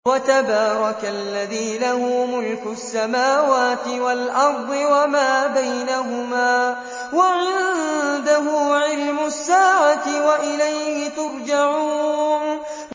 وَتَبَارَكَ الَّذِي لَهُ مُلْكُ السَّمَاوَاتِ وَالْأَرْضِ وَمَا بَيْنَهُمَا وَعِندَهُ عِلْمُ السَّاعَةِ وَإِلَيْهِ تُرْجَعُونَ